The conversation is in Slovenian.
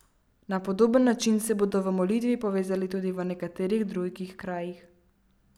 Na podoben način se bodo v molitvi povezali tudi v nekaterih drugih krajih.